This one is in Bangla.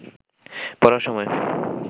পড়ার সময়